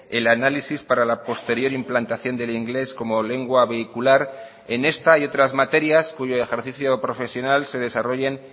el análisis para la posterior implantación del inglés como lengua vehicular en esta y otras materias cuyo ejercicio profesional se desarrollen